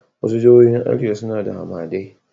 Wasu jihohin arewa suna da hamadai